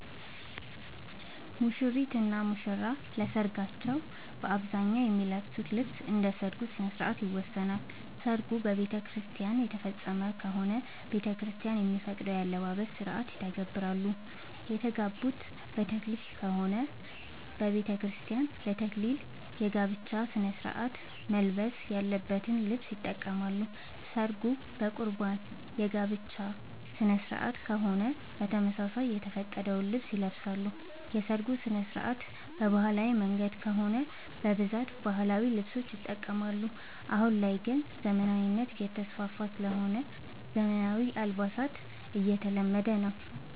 ሙሽሪት እና ሙሽራ ለሰርካቸው በአብዛኛው የሚለብሱት ልብስ እንደ ሠርጉ ስነስርዓት ይወሰናል። ሰርጉ በቤተክርስቲያን የተፈፀመ ከሆነ ቤተክርስቲያን የሚፈቅደውን የአለባበስ ስነስርዓት ይተገብራሉ። የተጋቡት በተክሊል ከሆነ በቤተክርስቲያን ለ ተክሊል የጋብቻ ስነስርዓት መልበስ ያለበትን ልብስ ይጠቀማሉ። ሰርጉ በቁርባን የጋብቻ ስነስርዓት ከሆነም በተመሳሳይ የተፈቀደውን ልብስ ይለብሳሉ። የሰርጉ ስነስርዓት በባህላዊ መንገድ ከሆነ በብዛት ባህላዊ ልብሶችን ይጠቀማሉ። አሁን ላይ ግን ዘመናዊነት እየተስፋፋ ስለሆነ ዘመናዊ አልባሳት እየተለመደ ነው።